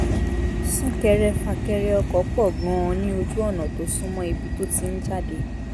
sún-kẹrẹ-fà-kẹrẹ ọkọ̀ pọ̀ gan-an ní ojú ọ̀nà tó sún mọ́ ibi tó ti ń jáde